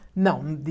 Não.